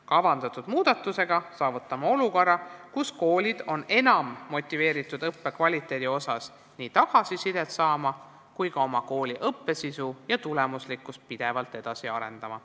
Kavandatud muudatusega saavutame olukorra, kus koolid on enam motiveeritud õppekvaliteedi kohta tagasisidet saama ning ka õppe sisu ja tulemuslikkust pidevalt edasi arendama.